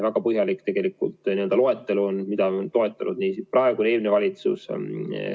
Väga põhjalik loetelu on, mida on toetanud nii praegune kui ka eelmine valitsus.